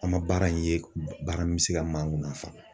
An ma baara in ye baara min bɛ se ka ma nafa.